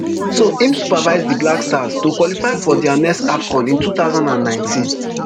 so im supervise di black stars to qualify for dia next afcon in two thousand and nineteen